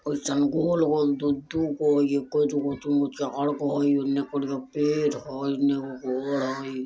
और जंगल हल दू-दूगो एगो दुगो तीनगो चारगो उनने करिया पेड़ हई ओने एगो घर हय।